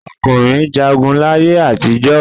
Ọkùnrin jagun láyé àtijọ́.